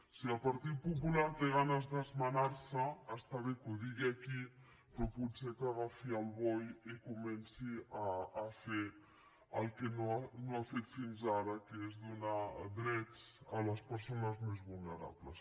si el partit popular té ganes d’esmenar se està bé que ho digui aquí però potser que agafi el boe i comenci a fer el que no ha fet fins ara que és donar drets a les persones més vulnerables